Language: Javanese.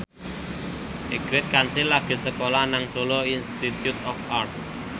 Ingrid Kansil lagi sekolah nang Solo Institute of Art